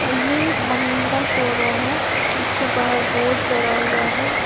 अ ये महिंद्रा शोरूम है जिसको बाहर बोर्ड चढ़ा हुआ है।